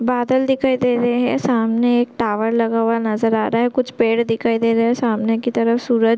बादल दिखाई दे रहे है सामने एक टॉवर लगा हुआ नज़र आ रहा है कुछ पेड़ दिखाई दे रहे है सामने कि तरफ सूरज--